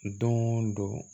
Don o don